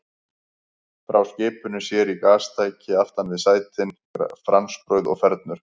Frá skipinu sér í gastæki aftan við sætin, franskbrauð og fernur.